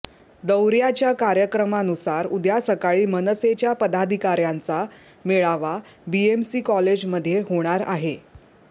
दौर्याच्या कार्यक्रमानूसार उद्या सकाळी मनसेच्या पदाधिकार्यांचा मेळावा बीएमसीसी कॉलेजमध्ये होणार आहे